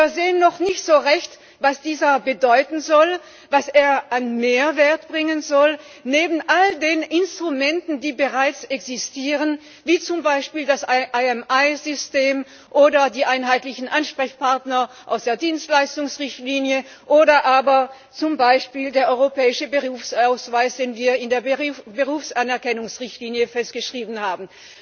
Wir sehen noch nicht so recht, was er bedeuten soll, was er an Mehrwert bringen soll neben all den Instrumenten, die bereits existieren, wie zum Beispiel dem IMI System oder den einheitlichen Ansprechpartnern aus der Dienstleistungsrichtlinie oder aber zum Beispiel dem europäischen Berufsausweis, den wir in der Berufsanerkennungsrichtlinie festgeschrieben haben.